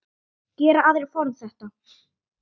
Gera aðrir form. þetta?